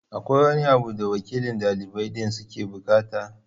Akwai wani abu da wakilan ɗalibai din suke buƙata?